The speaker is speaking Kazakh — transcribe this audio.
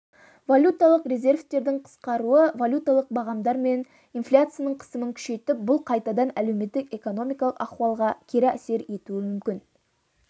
валюталық резервтердің қысқаруы валюталық бағамдар мен инфляцияның қысымын күшейтіп бұл қайтадан әлеуметтік-экономикалық ахуалға кері әсер етуі мүмкін